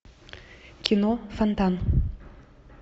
кино фонтан